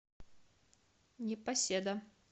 непоседа